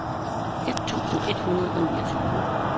et tusind et hundrede og niogtyve